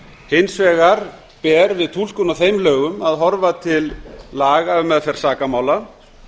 hins vegar ber við túlkun á þeim lögum að horfa til laga við meðferð sakamála